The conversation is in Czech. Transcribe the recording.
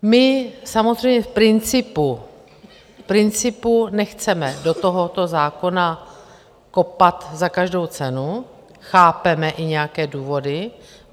My samozřejmě v principu nechceme do tohoto zákona kopat za každou cenu, chápeme i nějaké důvody.